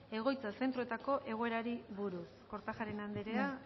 egoitza zentroetako egoerari buruz kortajarena andrea